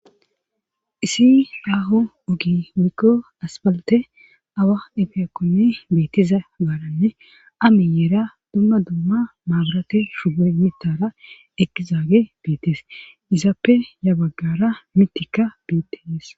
Issi daaho ugi wikko asbalte awa efiyqu beettiza gaaranne amiyeera dumma dumma maaburate shugor mitara ekizaage beetes izaappe yabaggara mitika beettehees.